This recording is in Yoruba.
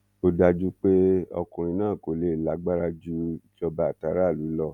ó dájú pé ọkùnrin náà kò lè lágbára ju ìjọba àtàráàlú lọ